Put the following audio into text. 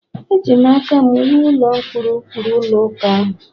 Eji aka m wuo ụlọ ụkpụrụ ụkpụrụ ụlọ ụka ahụ